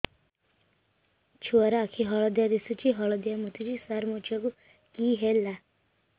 ଛୁଆ ର ଆଖି ହଳଦିଆ ଦିଶୁଛି ହଳଦିଆ ମୁତୁଛି ସାର ମୋ ଛୁଆକୁ କି ହେଲା